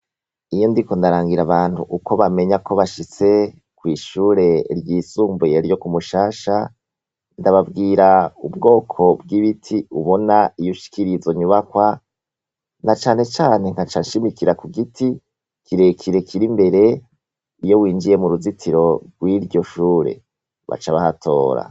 Iyo ndiko ndarangira abantu uko bamenya ko bashitse kw’ishuri ryisumbuye ryo ku Mushasha ,ndababwira ubwoko bw’ibiti ubona iyo ushikiriye izo nyubakwa na cane cane nkaca nshimikira kugiti ,kirekire kir’imbere ,iyo winjiye muruzitiro rw’iryo shure. Baca bahatora.